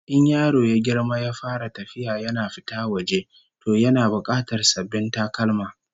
In yaro ya girma ya fara tafiya yana fita waje, to yana bukatar sabbin takalma